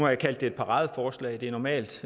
jeg kaldt det et paradeforslag det er normalt